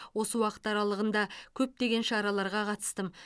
осы уақыт аралығында көптеген шараларға қатыстым